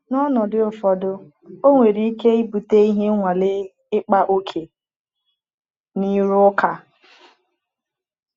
N’ọnọdụ ụfọdụ, ọ nwere ike ibute ihe nwale-ịkpa ókè na ịrụ ụka.